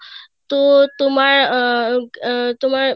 তো তোমার উম আহ তোমার